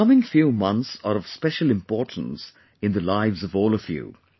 the coming few months are of special importance in the lives of all of you